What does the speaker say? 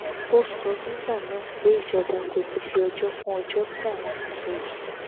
ó sọ nígbà náà pé ìjọba kò ní í fi ọjọ kún ọjọ tí àwọn ti sọ yìí